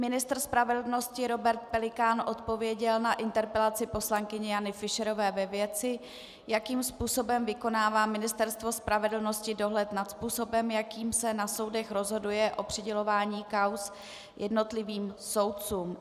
Ministr spravedlnosti Robert Pelikán odpověděl na interpelaci poslankyně Jany Fischerové ve věci, jakým způsobem vykonává Ministerstvo spravedlnosti dohled nad způsobem, jakým se na soudech rozhoduje o přidělování kauz jednotlivým soudcům.